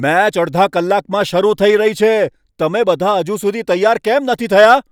Match અડધા કલાકમાં શરૂ થઈ રહી છે. તમે બધા હજુ સુધી તૈયાર કેમ નથી થયા?